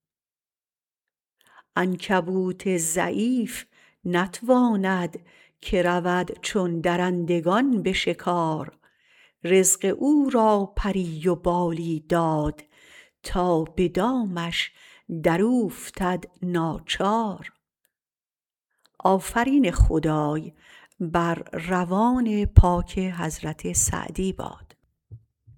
عنکبوت ضعیف نتواند که رود چون درندگان به شکار رزق او را پری و بالی داد تا به دامش دراوفتد ناچار